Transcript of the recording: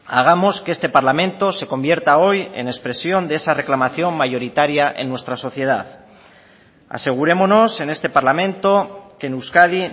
hagamos que este parlamento se convierta hoy en expresión de esa reclamación mayoritaria en nuestra sociedad asegurémonos en este parlamento que en euskadi